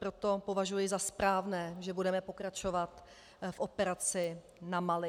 Proto považuji za správné, že budeme pokračovat v operaci na Mali.